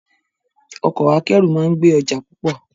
Ọkọ akẹ́rù máa ń gbé ọjà púpọ̀